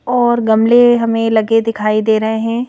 और गमले हमें लगे दिखाई दे रहे हैं।